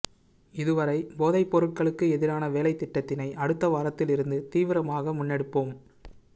இதுவரை போதைப்பொருளுக்கு எதிரான வேலைத்திட்டத்தினை அடுத்த வாரத்தில் இருந்து தீவிரமாக முன்னெடுப்போம்